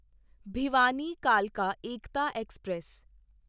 ਭਿਵਾਨੀ ਕਾਲਕਾ ਏਕਤਾ ਐਕਸਪ੍ਰੈਸ